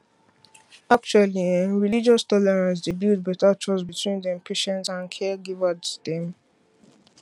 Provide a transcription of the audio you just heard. actually[um]relogious tolerance dey build better trust between dem patients and caregivers dem